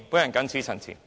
我謹此陳辭。